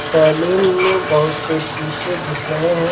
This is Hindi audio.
सैलून में बहुत सी सीसे दिख रहे हैं।